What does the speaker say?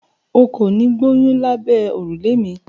O kò ní gboyún lábẹ́ òrùlé mi.